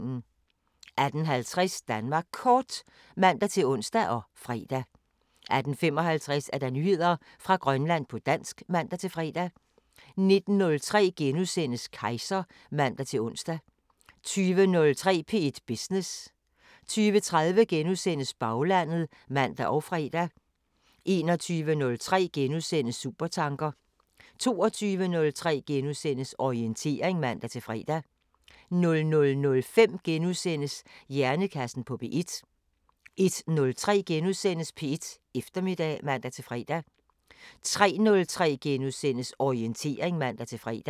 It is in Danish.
18:50: Danmark Kort (man-ons og fre) 18:55: Nyheder fra Grønland på dansk (man-fre) 19:03: Kejser *(man-ons) 20:03: P1 Business * 20:30: Baglandet *(man og fre) 21:03: Supertanker * 22:03: Orientering *(man-fre) 00:05: Hjernekassen på P1 * 01:03: P1 Eftermiddag *(man-fre) 03:03: Orientering *(man-fre)